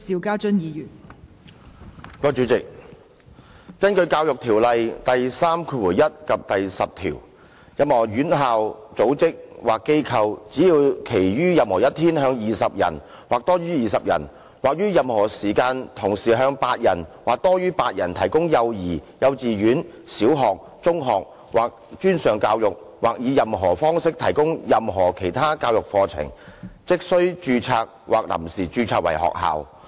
根據《教育條例》第31及第10條，任何院校、組織或機構，只要其於任何一天向20人或多於20人或於任何時間同時向8人或多於8人提供幼兒、幼稚園、小學、中學或專上教育或以任何方式提供任何其他教育課程，即須註冊或臨時註冊為學校。